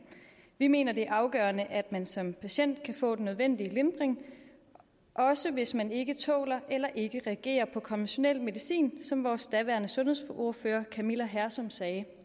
vi mener det er afgørende at man som patient kan få den nødvendige lindring også hvis man ikke tåler eller ikke reagerer på konventionel medicin som vores daværende sundhedsordfører camilla hersom sagde